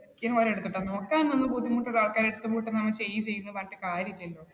നോക്കാൻ ബുദ്ധിമുട്ടുള്ള ആൾക്കാരുടെ അടുത്ത് , നീ ചെയ്യ് ചെയ്യ് എന്ന് പറഞ്ഞിട്ട് കാര്യമില്ലല്ലോ